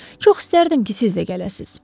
Çox istərdim ki, siz də gələsiniz.